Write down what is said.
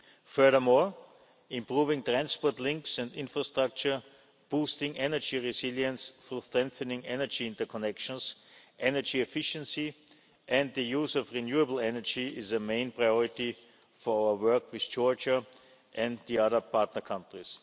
Furthermore, improving transport links and infrastructure, boosting energy resilience through strengthening energy interconnections, energy efficiency and the use of renewable energy is a main priority for our work with Georgia and the other partner countries.